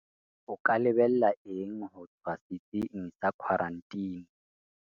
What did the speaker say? O ka lebella eng ho tswa setsing sa khwaranteni?